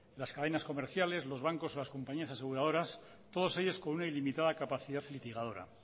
las cadenas comerciales los bancos o las compañías aseguradoras todos ellos con una ilimitada capacidad litigadora